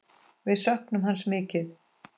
Við söknum hans mikið.